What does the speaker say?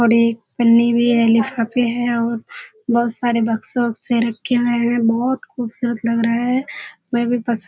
और एक पन्‍नी भी है लिफाफेे हैं और बहुुत सारे बक्‍से-उक्‍से रखे हुए हैं। बहुत खूूबसूरत लग रहा है। वह भी पस --